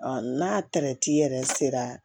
n'a tɛrɛti yɛrɛ sera